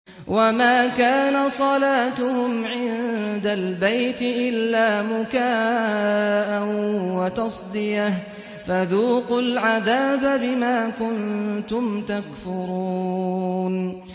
وَمَا كَانَ صَلَاتُهُمْ عِندَ الْبَيْتِ إِلَّا مُكَاءً وَتَصْدِيَةً ۚ فَذُوقُوا الْعَذَابَ بِمَا كُنتُمْ تَكْفُرُونَ